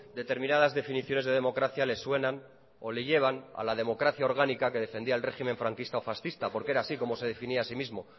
determinadas definiciones de democracia le suenan o le llevan a la democracia orgánica que defendía el régimen franquista fascista era así como se definía así mismo